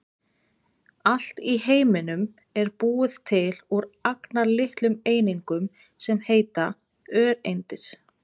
Allt í heiminum er búið til úr agnarlitlum einingum sem heita öreindir.